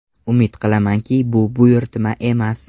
Umid qilamanki, bu buyurtma emas.